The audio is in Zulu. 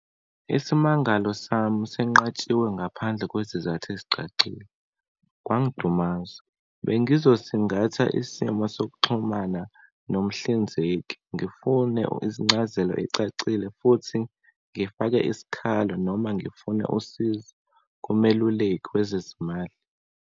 Isimangalo sami sinqatshiwe ngaphandle kwesizathu esicacile, kwangidumaza. Bengizosingatha isimo sokuxhumana nomhlinzeki, ngifune izincazelo ey'cacile, futhi ngifake isikhalo noma ngifune usizo kumeluleki wezezimali.